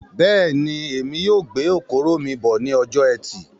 Bẹ́ẹ̀ni, èmi yóò gbé okoro mí bọ̀ ní ọjọ ẹtì Bẹ́ẹ̀ni, ọ̀la ní ayẹyẹ orin wa